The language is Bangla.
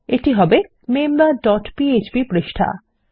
এটি হবে মেম্বার ডট পিএচপি পৃষ্ঠা